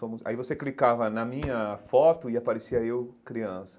Aí você clicava na minha foto e aparecia eu, criança.